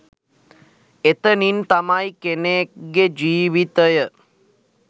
එතනින් තමයි කෙනෙක්ගෙ ජීවිතය